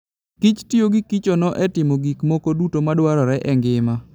kich tiyo gi kichono e timo gik moko duto madwarore e ngima.